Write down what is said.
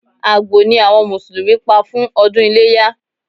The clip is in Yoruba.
Àgbò ni àwọn Mùsùlùmí Pa fún ọdún iléyá